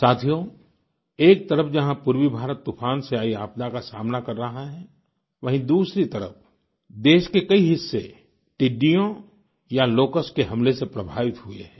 साथियो एक तरफ़ जहाँ पूर्वी भारत तूफान से आयी आपदा का सामना कर रहा है वहीँ दूसरी तरफ़ देश के कई हिस्से टिड्डियों या लोकस्ट के हमले से प्रभावित हुए हैं